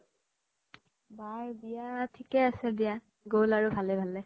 বাৰ বিয়া থিকে আছে দিয়া গ্'ল আৰু ভালে ভালে